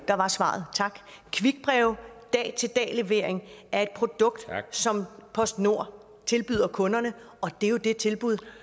der var svaret tak dag til dag levering er et produkt som postnord tilbyder kunderne og det er jo det tilbud